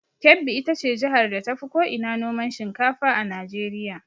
Kebbi ita ce jihar da tafi ko ina noman shinkafa a Najeriya.